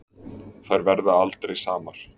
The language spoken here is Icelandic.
Þær aldrei verða samar.